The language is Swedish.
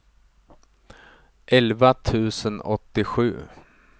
elva tusen åttiosju